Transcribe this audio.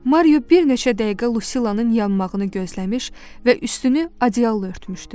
Mario bir neçə dəqiqə Lucilanın yanmağını gözləmiş və üstünü adyalla örtmüşdü.